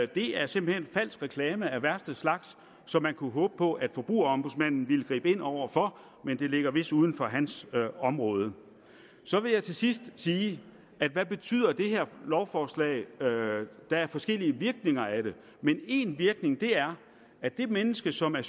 det er simpelt hen falsk reklame af værste slags som man kunne håbe på at forbrugerombudsmanden ville gribe ind over for men det ligger vist uden for hans område så vil jeg til sidst sige hvad betyder det her lovforslag der er forskellige virkninger af det men én virkning af det er at det menneske som er